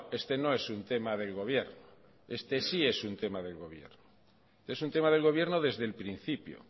este no es un tema del gobierno este sí es un tema del gobierno es un tema del gobierno desde el principio